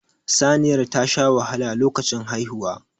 Saniyar tasha wahala lokacin haihuwa